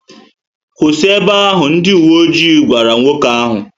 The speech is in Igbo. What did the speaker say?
Kwụsị ébé áhù!, ndị uwe ojii gwara nwoke áhù